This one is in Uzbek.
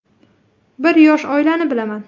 Bir yosh oilani bilaman.